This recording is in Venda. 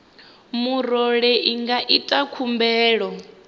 murole i nga ita khumbelo